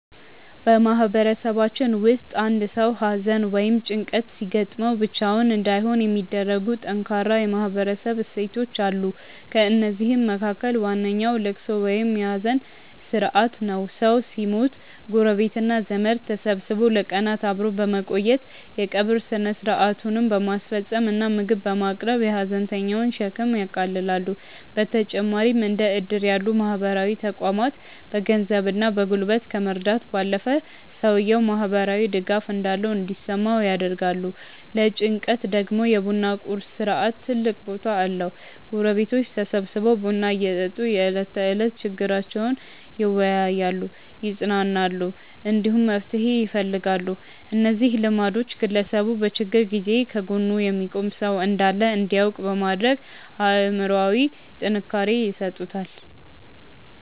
በማህበረሰባችን ውስጥ አንድ ሰው ሐዘን ወይም ጭንቀት ሲገጥመው ብቻውን እንዳይሆን የሚያደርጉ ጠንካራ የማህበረሰብ እሴቶች አሉ። ከእነዚህም መካከል ዋነኛው ልቅሶ ወይም የሐዘን ሥርዓት ነው። ሰው ሲሞት ጎረቤትና ዘመድ ተሰብስቦ ለቀናት አብሮ በመቆየት፣ የቀብር ሥነ ሥርዓቱን በማስፈጸም እና ምግብ በማቅረብ የሐዘንተኛውን ሸክም ያቃልላሉ። በተጨማሪም እንደ ዕድር ያሉ ማህበራዊ ተቋማት በገንዘብና በጉልበት ከመርዳት ባለፈ፣ ሰውየው ማህበራዊ ድጋፍ እንዳለው እንዲሰማው ያደርጋሉ። ለጭንቀት ደግሞ የ ቡና ቁርስ ሥርዓት ትልቅ ቦታ አለው፤ ጎረቤቶች ተሰብስበው ቡና እየጠጡ የዕለት ተዕለት ችግሮቻቸውን ይወያያሉ፣ ይጽናናሉ፣ እንዲሁም መፍትሄ ይፈልጋሉ። እነዚህ ልማዶች ግለሰቡ በችግር ጊዜ ከጎኑ የሚቆም ሰው እንዳለ እንዲያውቅ በማድረግ አእምሮአዊ ጥንካሬ ይሰጡታል።